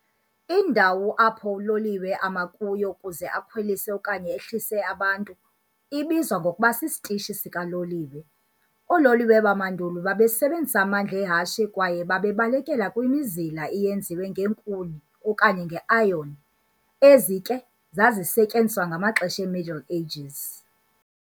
Indawo apho uloliwe ama kuyo ukuze akhwelise okanye ehlise abantu ibizwa ngokuba sisitishi sikaloliwe. Ololiwe bamandulo babesebenzisa amandla ehashe kwaye babebaleka kwimizila eyenziwe ngeenkuni okanye nge-iron. ezi ke zazisetyenziswa ngamaxesha e-Middle Ages.